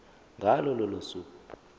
ngalo lolo suku